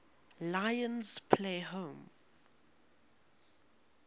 lions play home